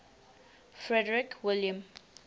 frederick william